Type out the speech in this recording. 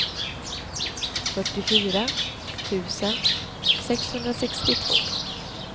fyrtiofyra tusen sexhundrasextiotvå